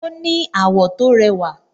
Ó ní àwọ̀ tó rẹwà